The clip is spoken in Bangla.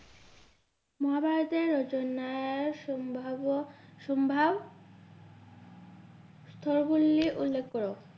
মহাভারতের রচনার সম্ভাব্য সম্ভাব স্তর গুলি উল্লেখ কর।